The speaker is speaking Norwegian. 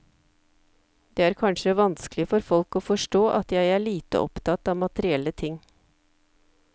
Det er kanskje vanskelig for folk å forstå at jeg er lite opptatt av materielle ting.